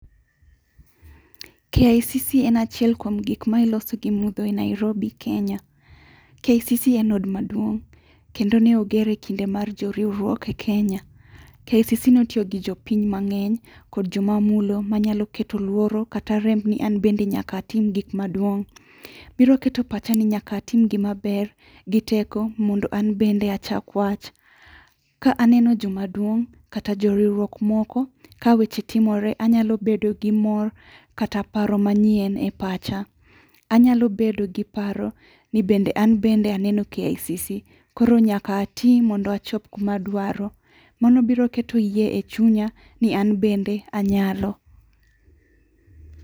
KICC en achiel kwom gik ei Nairobi, Kenya. KICC en od maduong' kendo neogere e kinde mar joriwruok e Kenya. KICC notio gi jopiny mang'eny kod joma mulo manyalo keto luoro kata rem ni an bende nyaka atim gik maduong'. Biro keto pacha ni nyaka atim gima ber gi teko mondo an bende achak wach. Ka aneno joma duong', kata joriwruok moko, kaweche timore anyalo bedo gi mor kata paro manyien e pacha. Anyalo bedo gi paro ni bende an bende aneno KICC. Koro nyaka atii mondo achop kuma adwaro. Mano biro keto yie e chunya ni an bende anyalo.